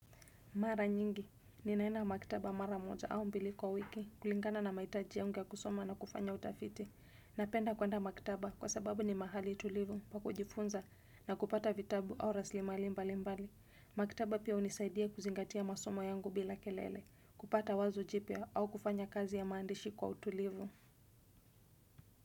Mara nyingi, ninaenda maktaba mara moja au mbili kwa wiki, kulingana na mahitaji yangu ya kusoma na kufanya utafiti. Napenda kuenda maktaba kwa sababu ni mahali tulivu, pa kujifunza na kupata vitabu au raslimali mbali mbali. Maktaba pia hunisaidia kuzingatia masoma yangu bila kelele, kupata wazo jipya au kufanya kazi ya maandishi kwa utulivu.